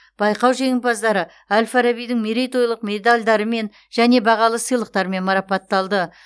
байқау жеңімпаздары әл фарабидің мерейтойлық медальдарымен және бағалы сыйлықтармен марапатталды